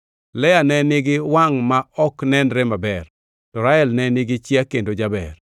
Lea ne nigi wangʼ ma ok nenre maber, to Rael ne nigi chia kendo jaber.